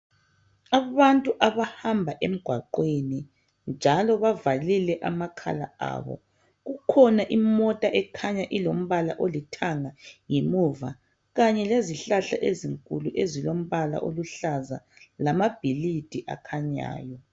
Abantu abahamba emgwaqeni njalo bavalile amakhala abo kukhona imota ekhanya ilombala olithanga ngemuva kanye lezihlahla ezinkulu ezilombala oluhlaza lamabhilidi akhanyayo